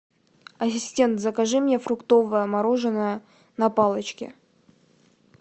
ассистент закажи мне фруктовое мороженое на палочке